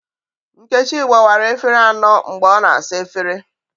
Nkechi gbawars efere anọ mgbe ọ na-asa efere